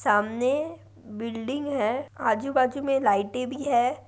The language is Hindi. सामने बिल्डिंग है आजू बाजू में लाइटे भी है।